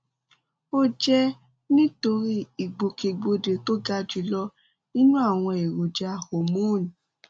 ó jẹ nítorí ìgbòkègbodò tó ga jùlọ nínú àwọn èròjà hormone